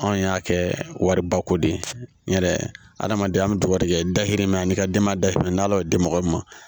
Anw y'a kɛ wariba ko de ye n yɛrɛ hadamadenya an bɛ dugawu kɛ dakurun min na n'i ka denbaya dahirimɛ n'ala y'o di mɔgɔ min ma